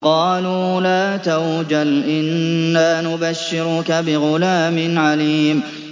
قَالُوا لَا تَوْجَلْ إِنَّا نُبَشِّرُكَ بِغُلَامٍ عَلِيمٍ